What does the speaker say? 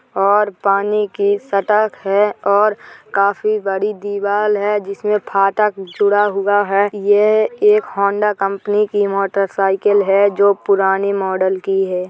और पानी की सटक है और काफी बड़ी दीवाल है जिसमें फाटक जुड़ा हुआ है | यह एक हौंडा कंपनी की मोटरसाइकिल है जो पुराने मॉडल की है।